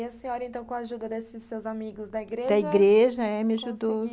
E aí a senhora, então, com a ajuda desses seus amigos da igreja... Da igreja, é, me ajudou. Conseguiu.